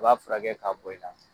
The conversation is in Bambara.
I b'a furakɛ ka bɔ i la.